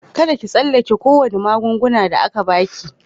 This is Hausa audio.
Kadda ki tsallake ko wani magungunan da aka ba ki.